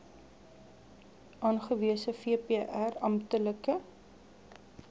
aangewese vpr amptelike